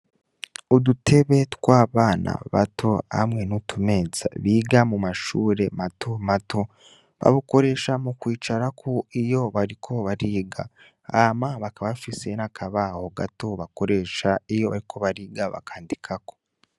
Udutebe tw'abana bato, hamwe n'utumeza biga mu mashure matomato babukoresha mu kwicarako iyo bariko bariga. Hama bakaba bafise n'akabaho gato bakoresha, iyo bariko bariga bakandikako.